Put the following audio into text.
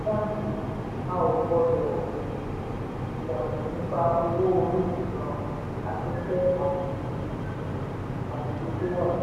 báńkì a ó gbọ́ ilana nípa owó orí um afẹ́fẹ́ àti um àkùdé to wà.